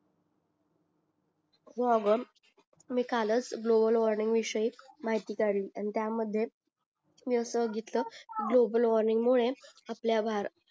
हो अगं मी कालच ग्लोबल वॉर्निंग विषयी माहिती काढली त्यामध्ये मी असं बघितलं ग्लोबल वॉर्निंग मुळे आपल्या भार